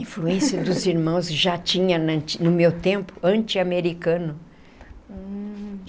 Influência dos irmãos já tinha no meu tempo, antiamericano.